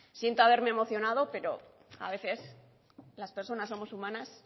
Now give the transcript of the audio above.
siento haberme emocionado pero a veces las personas somos humanas